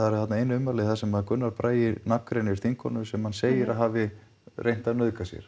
eru þarna ein ummæli þar sem Gunnar Bragi nafngreinir þingkonu sem hann segir að hafi reynt að nauðga sér